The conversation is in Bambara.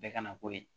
Bɛɛ kana k'o ye